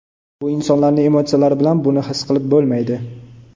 Bu insonlarning emotsiyalari bilan buni his qilib bo‘lmaydi.